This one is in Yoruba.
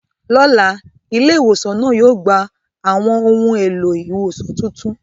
Lọ́la, ilé ìwòsàn náà yóò gba àwọn ohun èlò ìwòsàn tuntun.